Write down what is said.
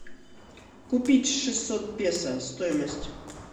купить шестьсот песо стоимость